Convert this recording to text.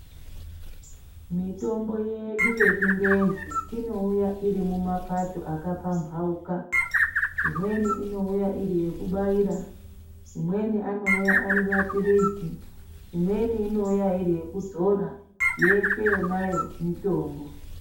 Mitombo yedu yechingezi inouya iri kumapato akapambauka. Imweni inouya iri yekubaira, imweni anouya ari maphirizi, imweni imouya iri yekudzora yeshe yonayo mitombo.